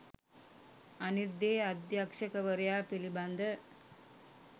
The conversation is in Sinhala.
අනිත් දේ අධ්‍යක්ෂවරයා පිළිබඳ